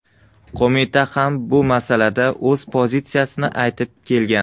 Qo‘mita ham bu masalada o‘z pozitsiyasini aytib kelgan.